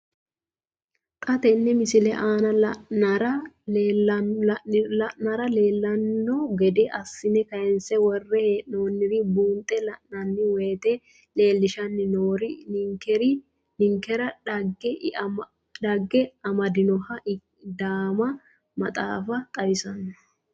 Xa tenne missile aana la'nara leellanno gede assine kayiinse worre hee'noonniri buunxe la'nanni woyiite leellishshanni noori ninkera dhagge amadinoha daama maxaafa xawissanno.